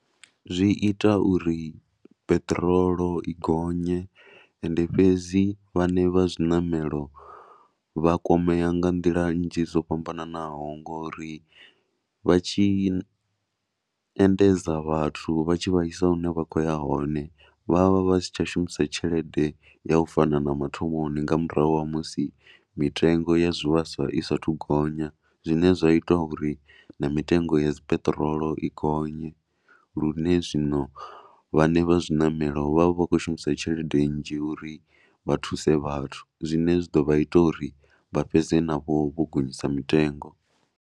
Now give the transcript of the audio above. Zwi ita uri peṱirolo i gonye ende fhedzi vhaṋe vha zwi zwiṋamelo vha kwamea nga nḓila nnzhi dzo fhambanaho ngori vha tshi endedza vhathu vha tshi vha isa hune vha khou ya hone vha vha vha si tsha shumisa tshelede ya u fana na mathomoni nga murahu ha musi mitengo ya zwivhaswa i saathu gonya. Zwine zwa ita uri na mitengo ya dzi peṱirolo i gonye lune zwino vhaṋe vha zwiṋamelo vha vha vha khou shumisa tshelede nnzhi uri vha thuse vhathu zwine zwa ḓo vha ita uri vha fhedze navho vho gonyisa mitengo.